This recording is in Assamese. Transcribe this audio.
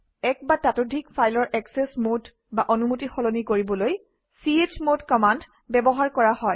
এক বা ততোধিক ফাইলৰ একচেচ মোড বা অনুমতি সলনি কৰিবলৈ চমদ কমাণ্ড ব্যৱহাৰ কৰা হয়